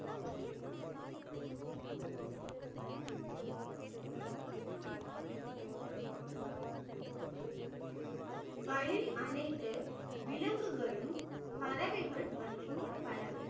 வழி அனைத்து விலங்குகளும் பறவைகள் மற்றும் பல